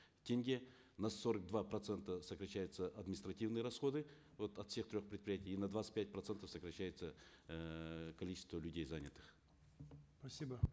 тенге на сорок два процента сокращаются административные расходы вот от всех трех предприятий и на двадцать пять процентов сокращается эээ количество людей занятых спасибо